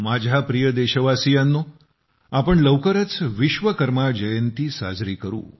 माझ्या प्रिय देशवासीयांनो आपण लवकरच विश्वकर्मा जयंती साजरी करू